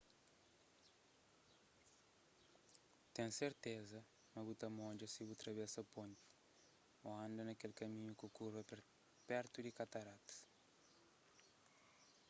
ten serteza ma bu ta modja si bu travesa ponti ô anda na kel kaminhu ku kurva pertu di kataratas